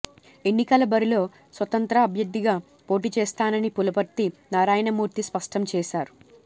ఎన్నికల బరిలో స్వతంత్ర అభ్యర్థిగా పోటీచేస్తానని పులపర్తి నారాయణమూర్తి స్పష్టం చేశారు